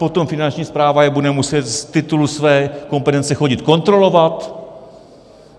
Potom Finanční správa je bude muset z titulu své kompetence chodit kontrolovat.